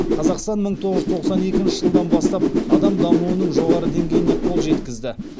қазақстан мың тоғыз жүз тоқсан екінші жылдан бастап адам дамуының жоғары деңгейіне қол жеткізді